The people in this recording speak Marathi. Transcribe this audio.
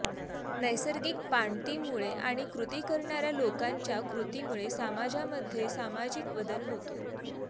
नैसर्गिक पाणतीमुळे आणि कृती करणार्या लोकांच्या कृतीमुळे समाजामध्ये सामाजिक बदल होतो